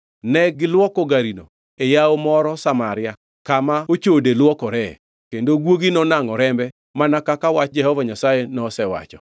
Ne gilwoko garino e yawo moro Samaria (kama ochode lwokoree), kendo guogi nonangʼo rembe, mana kaka wach Jehova Nyasaye nosewacho.